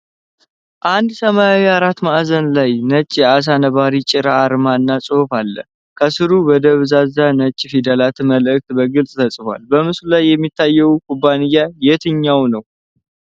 አንድ ሰማያዊ አራት ማዕዘን ላይ ነጭ የዓሣ ነባሪ ጭራ አርማ እና ጽሑፍ አለ። ከስሩ በደብዛዛ ነጭ ፊደላት መልዕክት በግልጽ ተጽፏል። በምስሉ ላይ የሚታየው ኩባንያ የትኛው ነው?